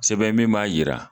Sɛbɛn min b'a jira